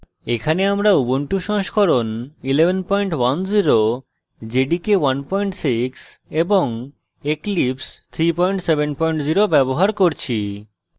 এখানে আমরা